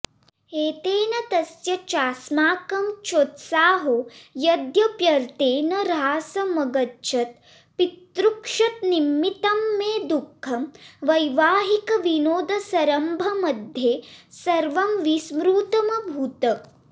एतेन तस्य चास्माकं चोत्साहो यद्यप्यर्थे न ह्रासमगच्छत् पितृक्षतनिमित्तं मे दुःखं वैवाहिकविनोदसंरम्भमध्ये सर्वं विस्मृतमभूत्